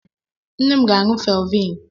Nne m ga-aṅụ felviin.